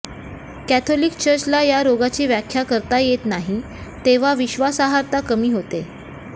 Catholic चर्चला या रोगाची व्याख्या करता येत नाही तेव्हा विश्वासार्हता कमी होते